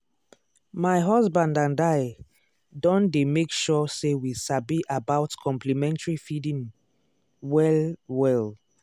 my husband and i don dey make sure say we sabi about complementary feeding well-well.